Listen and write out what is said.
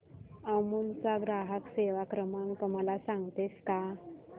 अमूल चा ग्राहक सेवा क्रमांक मला सांगतेस का